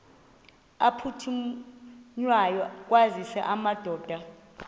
aphuthunywayo kwaziswe amadoda